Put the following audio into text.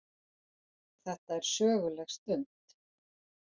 Þetta er söguleg stund.